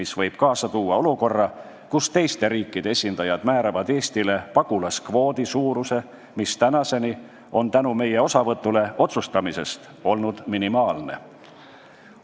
See võib kaasa tuua olukorra, kus teiste riikide esindajad määravad Eestile pagulaskvoodi suuruse, mis on tänaseni tänu meie otsustamisest osavõtule minimaalne olnud.